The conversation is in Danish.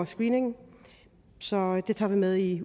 screening så det tager vi med i